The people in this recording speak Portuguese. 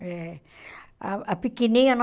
É. A a pequenininha nós